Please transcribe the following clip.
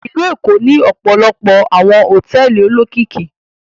Ìlú Èkó ní ọpọlọpọ awọn hotẹẹli olokiki